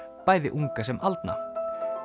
bæði unga sem aldna